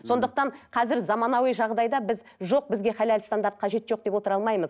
сондықтан қазір заманауи жағдайда біз жоқ бізге халал стандарт қажеті жоқ деп отыра алмаймыз